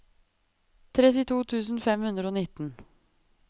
trettito tusen fem hundre og nitten